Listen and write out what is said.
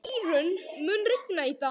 Írunn, mun rigna í dag?